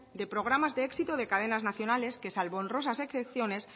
de programas de éxito de cadenas nacionales que salvo en honrosas excepciones